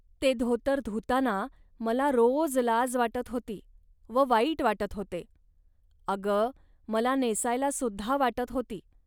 ते धोतर धुताना मला रोज लाज वाटत होती व वाईट वाटत होते. अग, मला नेसायला सुद्धा वाटत होती